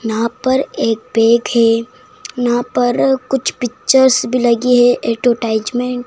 यहां पर एक बेड है यहां पर कुछ पिक्चर्स भी लगी है एटोटाईजमेंट --